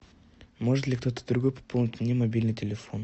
может ли кто то другой пополнить мне мобильный телефон